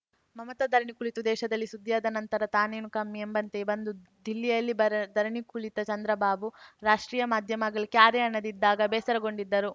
ಮಮತಾ ಧರಣಿ ಕುಳಿತು ದೇಶದಲ್ಲಿ ಸುದ್ದಿಯಾದ ನಂತರ ತಾನೇನು ಕಮ್ಮಿ ಎಂಬಂತೆ ಬಂದು ದಿಲ್ಲಿಯಲ್ಲಿ ಬರ ಧರಣಿ ಕುಳಿತ ಚಂದ್ರಬಾಬು ರಾಷ್ಟ್ರೀಯ ಮಾಧ್ಯಮಗಳು ಕ್ಯಾರೇ ಅನ್ನದೆ ಇದ್ದಾಗ ಬೇಸರಗೊಂಡಿದ್ದರು